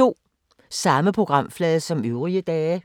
Samme programflade som øvrige dage